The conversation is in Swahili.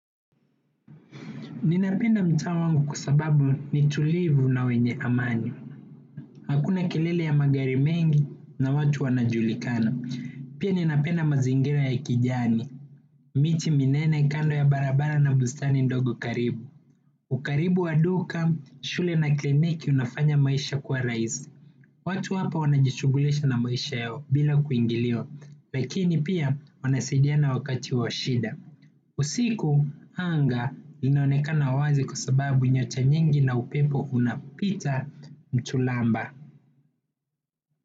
Ninapenda mtaa wangu kwa sababu ni tulivu na wenye amani. Hakuna kelele ya magari mengi na watu wanajulikana. Pia ninapenda mazingira ya kijani. Miti minene kando ya barabara na bustani ndogo karibu. Ukaribu wa duka, shule na kliniki unafanya maisha kuwa rahisi. Watu hapa wanajishughulisha na maisha yao bila kuingiliwa. Lakini pia wanasaidiana wakati wa shida. Usiku anga linaonekana wazi kwa sababu nyacha nyingi na upepo unapita mchulamba.